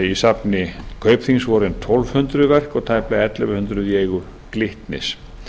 í safni kaupþings voru um tólf hundruð verk og tæplega ellefu hundruð í eigu glitnis